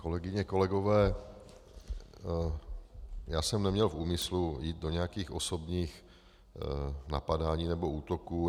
Kolegyně, kolegové, já jsem neměl v úmyslu jít do nějakých osobních napadání nebo útoků.